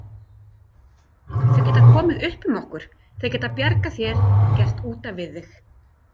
Þau geta komið upp um okkur, þau geta bjargað þér, gert útaf við þig.